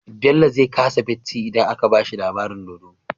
Bello zai ƙasa bacci idan aka bashi labarin dodo